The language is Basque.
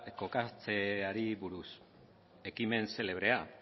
kokatzeari buruz ekimen xelebrea